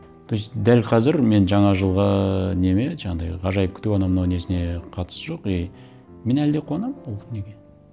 то есть дәл қазір мен жаңа жылғы неме жаңағындай ғажайып күту анау мынау несіне қатысы жоқ и мен әлі де қуанамын ол неге